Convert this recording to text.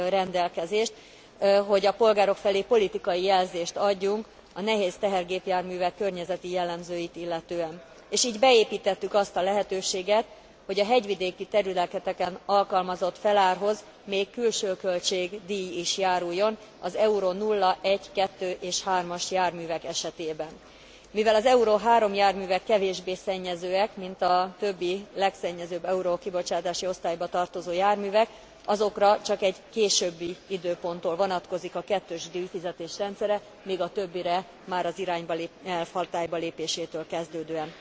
rendelkezést, hogy a polgárok felé politikai jelzést adjunk a nehéz tehergépjárművek környezeti jellemzőit illetően, és így beépítettük azt a lehetőséget, hogy a hegyvidéki területeken alkalmazott felárhoz még külső költségdíj is járuljon az Euro 0,1,2 és 3 as járművek esetében. Mivel az Euro 3 járművek kevésbé szennyezőek, mint a többi legszennyezőbb Euro kibocsátási osztályba tartozó járművek, azokra csak egy későbbi időponttól vonatkozik a kettős díjfizetés rendszere, míg a többire már az irányelv hatálybalépésétől kezdődően.